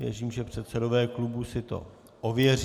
Věřím, že předsedové klubů si to ověří.